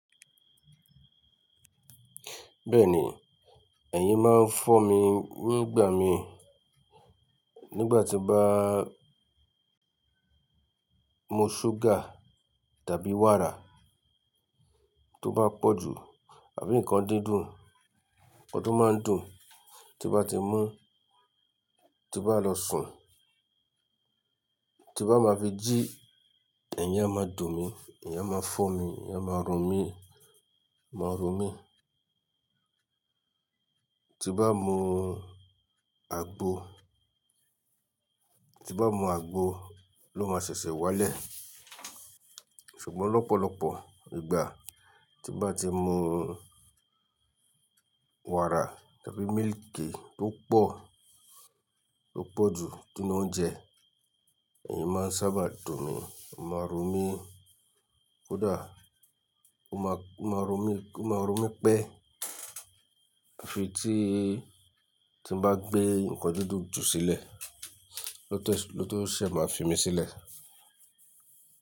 Bẹ́ẹ̀ni, ẹ̀yin máa ń fọ́ mi nígbà mi, nígbà tí bá mú ṣúgà tàbí wàrà tó bá pọ̀ jù àbí nǹkan dídùn, ọdún máa ń dùn. Ti bá ti mú, ti bá lọ sùn, ti bá máa fi jí, ẹ̀yin á máa dùn mí, ẹ̀yin á máa fọ́n mi, ẹ̀yin á máa ro mi, máa ro mí. Ti mbá mú àgbo, ti bá mú àgbo ló máa ṣẹ̀ṣẹ̀ wálẹ̀. Ṣùgbọ́n lọ́pọ̀lọpọ̀ ígbà tí mbá ti mú wàrà tàbí mílìkì tó pọ̀, tó pọ̀ jù nínú oúnjẹ, ẹ̀yin máa ń sábà dùn mí, máa rún mí. Kódàa, ó máa, ó máa ro mí, ó máa ro mí pẹ́. Fi tí, tí bá gbé nǹkan dídùn jù sílẹ̀, ló tó, ló tó ṣe máa fi mí sílẹ̀